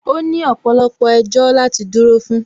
Ó ní ọ̀pọ̀lọpọ̀ ẹjọ́ láti dúró fún